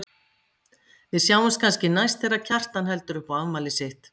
Við sjáumst kannski næst þegar Kjartan heldur upp á afmælið sitt.